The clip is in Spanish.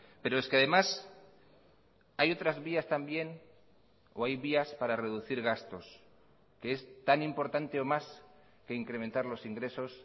pero es que además hay otras vías también o hay vías para reducir gastos que es tan importante o más que incrementar los ingresos